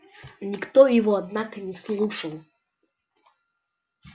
никто его однако не слушал